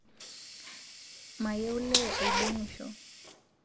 Mayieu lee oidong'usho